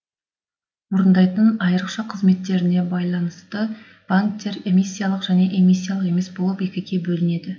орындайтын айырықша қызметтеріне байланысты банктер эмиссиялық және эмиссиялық емес болып екіге бөлінеді